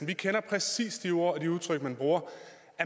vi kender præcis de ord og de udtryk man bruger